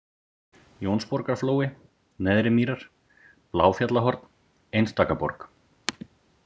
Jónsborgarflói, Neðrimýrar, Bláfjallahorn, Einstakaborg